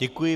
Děkuji.